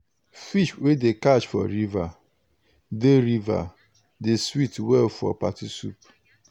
fish wey dem catch for river dey river dey sweet well for party soup.